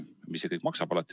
Mis see kõik maksab?